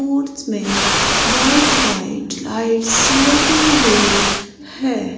मोट्स में white white lights लगी हुई है।